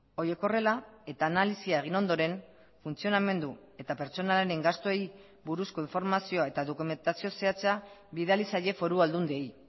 horiek horrela eta analisia egin ondoren funtzionamendu eta pertsonalen gastuei buruzko informazioa eta dokumentazio zehatza bidali zaie foru aldundiei